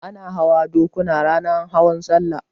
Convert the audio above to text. Ana hawa dokuna ranar hawan sallah